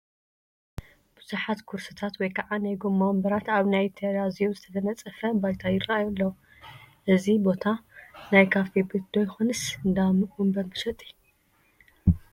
ብዙሓት ኩርሲታት ወይ ከዓ ናይ ጎማ ወንበራት ኣብ ናይ ቴራዚዮ ዝተነፀፈ ባይታ ይራኣዩ ኣለው፡፡ እዚ ቦታ ናይ ካፌ ቤት ዶ ይኾንስ እንዳወንበር መሸጢ?